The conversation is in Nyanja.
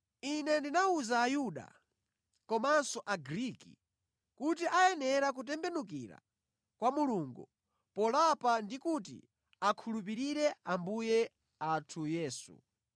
Ine ndinawuza Ayuda komanso Agriki kuti ayenera kutembenukira kwa Mulungu polapa ndikuti akhulupirire Ambuye athu Yesu.